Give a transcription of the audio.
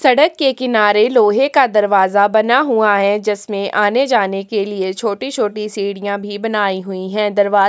सड़क के किनारे लोहै का दरवाजा बना हुआ है जिसमे आने जाने के लिए छोटे-छोटे सीढ़िया भी बनाई हुई है दरवा--